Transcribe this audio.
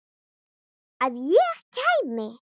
Að ég kæmi?